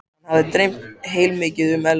Hann hafði dreymt heilmikið um Elísu.